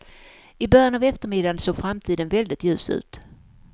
I början av eftermiddagen såg framtiden väldigt ljus ut.